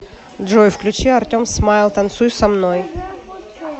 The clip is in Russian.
джой включи артем смайл танцуй со мной